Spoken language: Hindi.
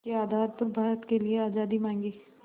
के आधार पर भारत के लिए आज़ादी मांगी